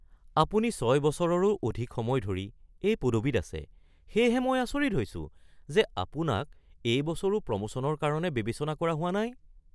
আপুনি ৬ বছৰৰো অধিক সময় ধৰি এই পদবীত আছে, সেয়েহে মই আচৰিত হৈছোঁ যে আপোনাক এই বছৰো প্ৰমোশ্যনৰ কাৰণে বিবেচনা কৰা হোৱা নাই। (কৰ্মচাৰী ১)